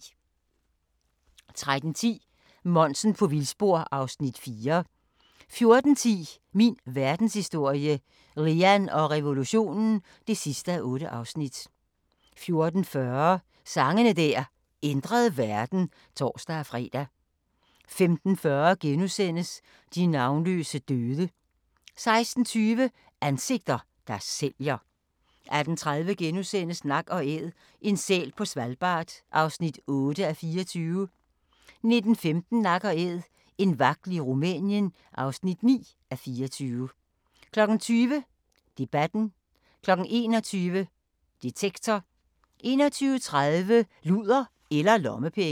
13:10: Monsen på vildspor (Afs. 4) 14:10: Min verdenshistorie - Lean og revolutionen (8:8) 14:40: Sange der ændrede verden (tor-fre) 15:40: De navnløse døde * 16:20: Ansigter, der sælger 18:30: Nak & Æd – en sæl på Svalbard (8:24)* 19:15: Nak & Æd – en vagtel i Rumænien (9:24) 20:00: Debatten 21:00: Detektor 21:30: Luder eller lommepenge